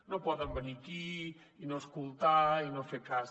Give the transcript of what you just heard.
no poden venir aquí i no escoltar i no fer cas